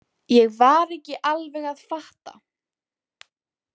Ég var ekki alveg að fatta.